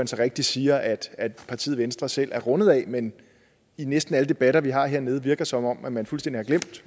så rigtigt siger at partiet venstre selv er rundet af men i næsten alle debatter vi har hernede virker det som om man fuldstændig har glemt